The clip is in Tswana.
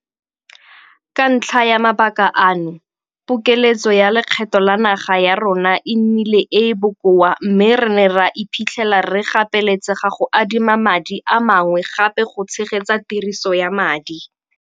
Ka ntlha ya mabaka ano, pokeletso ya lekgetho la naga ya rona e nnile e e bokoa mme re ne ra iphitlhela re gapeletsega go adima madi a mangwe gape go tshegetsa tiriso ya madi